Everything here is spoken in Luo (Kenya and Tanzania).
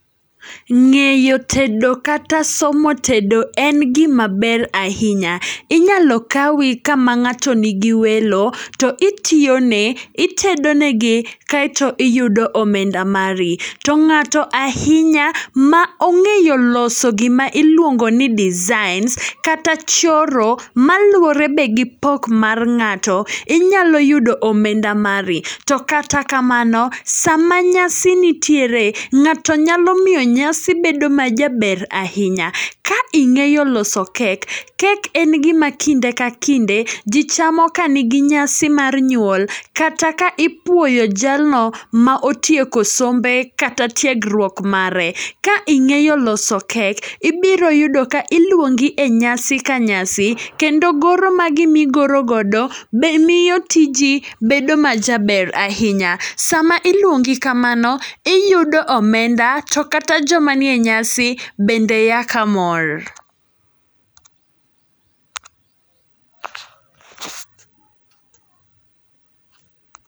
Ng'eyo tedo kata somo tedo en gima ber ahinya, inyalo kawi kama ng'ato nigi welo to itiyo ne, itedo negi kaeto iyudo omenda mari. To ng'ato ahinya ma ong'eyo loso gima iluongo ni designs, kata choro, maluwore be gi pok mar ng'ato, inyalo yudo omenda mari. To kata kamano, sama nyasi nitiere, ng'ato nyalo miyo nyasi bedo ma jaber ahinya. Ka ing'eyo loso kek, kek en gima kinde ka kinde, ji chamo ka nigi nyasi mar nyuol. Kata ka ipuoyo jalno ma otieko sombe kata tiegruok mare. Ka ing'eyo loso kek, ibiro yudo ka iluongi e nyasi ka nyasi. Kendo goro ma gimi gorogodo be miyo tiji bedo ma jaber ahinya. Sama iluongi kamano, iyudo omenda to kata joma nie nyasi bende ya ka mor.